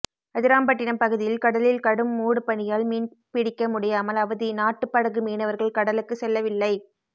அதிராம்பட்டினம் பகுதியில் கடலில் கடும் மூடு பனியால் மீன்பிடிக்க முடியாமல் அவதி நாட்டுப் படகு மீனவர்கள் கடலுக்கு செல்லவில்லை